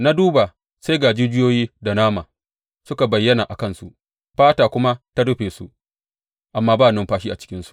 Na duba, sai ga jijiyoyi da nama suka bayyana a kansu fata kuma ta rufe su, amma ba numfashi a cikinsu.